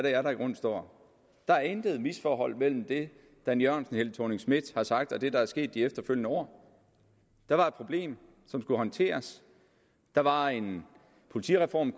er der i grunden står der er intet misforhold mellem det dan jørgensen helle thorning schmidt har sagt og det der er sket i de efterfølgende år der var et problem som skulle håndteres der var en politireform